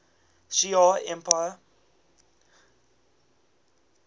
shi ar empire